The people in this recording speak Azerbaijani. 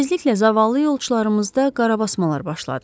Tezliklə zavallı yolçularımızda qarabasmalar başladı.